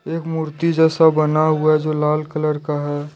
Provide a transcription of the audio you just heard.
एक मूर्ति जैसा बना हुआ है जो लाल कलर का है।